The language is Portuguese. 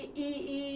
E e e